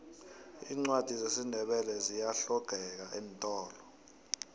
iincwadi zesindebele ziyahlogeka eentolo